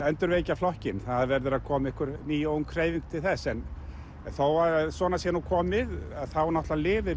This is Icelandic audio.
endurvekja flokkinn það verður að koma einhver ný ung hreyfing til þess en þó að svona sé nú komið þá náttúrulega lifir